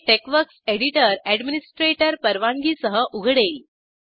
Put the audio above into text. हे TeXworks editor administrator परवानगीसह उघडेल